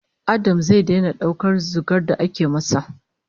Adam zai daina daukar zugar da ake masa